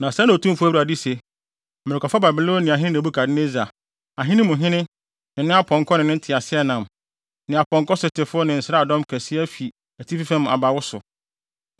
“Na sɛɛ na Otumfo Awurade se: Merekɔfa Babiloniahene Nebukadnessar, ahene mu hene, ne ne apɔnkɔ ne nteaseɛnam, ne apɔnkɔsotefo ne nsraadɔm kɛse afi atifi fam aba wo so.